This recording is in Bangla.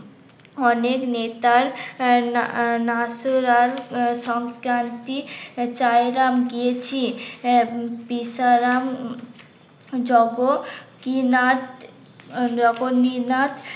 অনেক নেতার বেচারাম যোগকীনাথ যোগনীনাথ